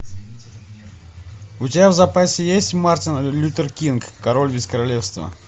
у тебя в запасе есть мартин лютер кинг король без королевства